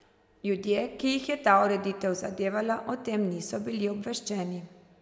Ljudje, ki jih je ta ureditev zadevala, o tem niso bili obveščeni.